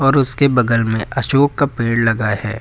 और उसके बगल में अशोक का पेड़ लगा है।